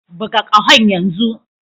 Buga ƙahon yanzu!